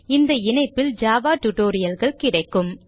இந்த இணைப்பில் ஜாவா tutorialகள் கிடைக்கும்